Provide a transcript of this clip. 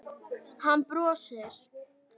Hann brosir.